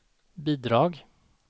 bidrag